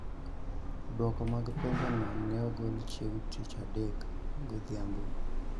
Duoko mag penjono ne ogol chieng� tich adek godhiambo